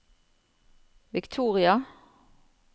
Victoria